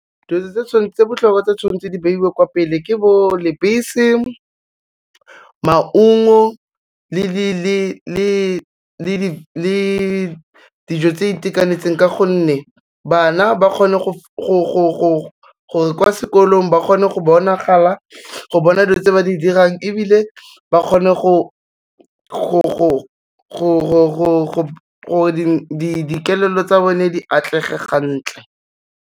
Dilo tse botlhokwa tse tshwanetse di beiwe kwa pele ke bo lebese, maungo le dijo tse itekanetseng ka gonne, bana ba kgone go, kwa sekolong ba kgone go bonagala, go bona dilo tse ba di dirang ebile, ba kgone gore dikelello tsa bone di atlege gantle.